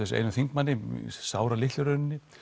sig einum þingmanni sáralitlu í rauninni